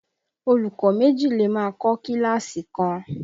Olùkọ́ méjì lè máa kọ kíláàsì kan